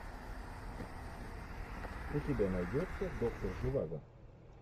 у тебя найдется доктор живаго